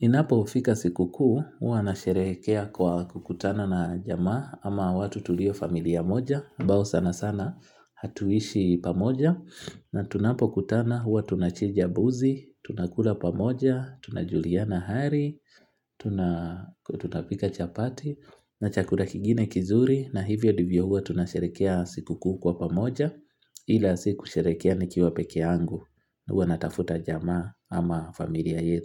Inapofika sikukuu, huwa nasherekea kwa kukutana na jamaa ama watu tulio familia moja. Ambao sanasana hatuishi pamoja. Na tunapokutana, huwa tunachinja mbuzi, tunakula pamoja, tunajuliana hali, tunapika chapati na chakula kingine kizuri na hivyo ndivyo huwa tunasherekea sikukuu kwa pamoja ila siyo kusherekea nikiwa peke yangu huwa natafuta jamaa ama familia yetu.